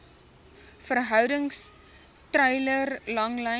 verhoudings treiler langlyn